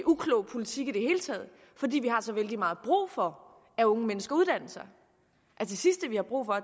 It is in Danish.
uklog politik i det hele taget fordi vi har så vældig meget brug for at unge mennesker uddanner sig det sidste vi har brug for